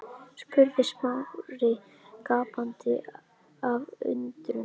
spurði Smári gapandi af undrun.